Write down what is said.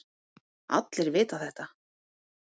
Allir vita þetta.